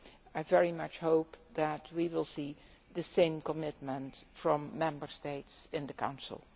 I very much hope that we will see the same commitment from Member States in the Council.